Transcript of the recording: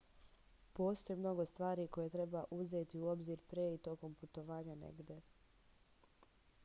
postoji mnogo stvari koje treba uzeti u obzir pre i tokom putovanja negde